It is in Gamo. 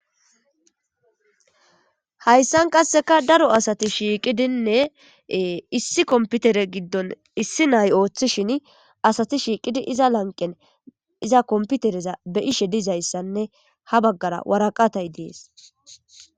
Hayssan qassekka daro asati shiiqidinne issi kompitere giddon issi naay ooththishin asati shiiqidi iza lanqqen iza kompitereza be'ishe dizayssayssanne ha baggara waraqatey dees.